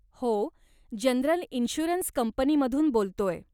हो, general insurance कंपनीमधून बोलतोय.